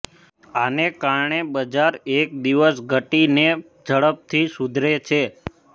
આને કારણે બજાર એક દિવસ ઘટીને ઝડપથી સુધરે છે